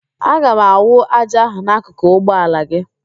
Aga m awụ ájá ahụ n'akụkụ ụgbọ ala gị